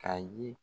Ka ye